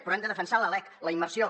però hem de defensar la lec la immersió